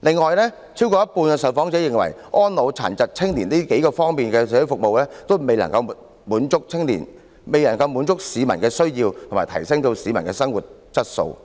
此外，有超過一半受訪者認為，安老、殘疾和青年等各方面的社會服務，也未能滿足到市民的需要和提升其生活質素，